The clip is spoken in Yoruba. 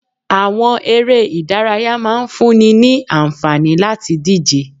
Àwọn eré ìdárayá máa ń fún ni ní àǹfààní láti díje